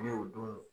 Ne y'o don